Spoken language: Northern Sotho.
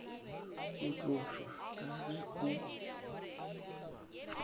go tlošwa ka ge o